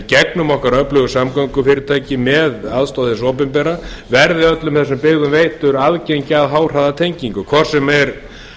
í gegnum okkar öflugu samgöngufyrirtæki með aðstoð hins opinbera verði öllum þessum byggðum veitt aðgengi að háhraðatengingu hvort sem er